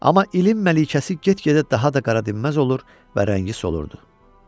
Amma ilin məlikəsi get-gedə daha da qaratəmizməz olur və rəngi solurdu.